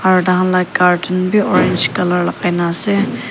aro thakhan la curtain bhi orange colour lagaina ase.